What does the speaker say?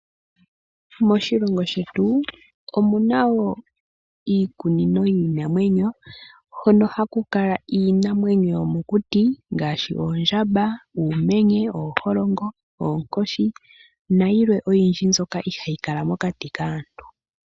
Moshilongo shetu omuna wo iikunino yiinamwenyo hono haku kala iinamwenyo yomokuti ngaashi oondjamba, uumenye, ooholongo, oonkoshi nayilwe oyindji mbyoka ihaayi kala mokati kaantu.